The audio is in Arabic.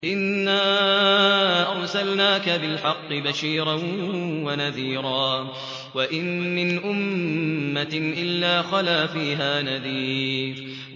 إِنَّا أَرْسَلْنَاكَ بِالْحَقِّ بَشِيرًا وَنَذِيرًا ۚ وَإِن مِّنْ أُمَّةٍ إِلَّا خَلَا فِيهَا نَذِيرٌ